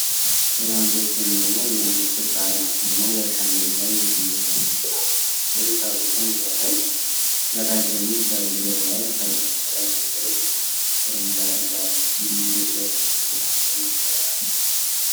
በጣም ደስ የሚል እና የሚያምር ክብ አርማ! አርማው በእርሻ መሬት ላይ የስንዴ ተክልና የኢንዱስትሪ ፋብሪካን ሲያሳይ፣ ከታች ደግሞ የሰብል ዘለላዎች አሉ። ከላይ ነጭ ርግብ ቅርንጫፍ ይዛለች፤ ይህም የእድገትንና የሰላምን ስሜት ይፈጥራል።